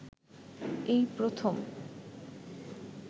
এই প্রথম